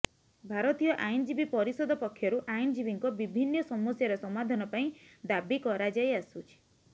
ଭାରତୀୟ ଆଇନଜୀବୀ ପରିଷଦ ପକ୍ଷରୁ ଆଇନଜୀବୀଙ୍କ ବିଭିନ୍ନ ସମସ୍ୟାର ସମାଧାନ ପାଇଁ ଦାବ କରାଯାଇଆସୁଛି